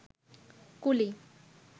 কুলি